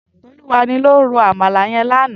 Toluwani ló ró ámàlá yén làná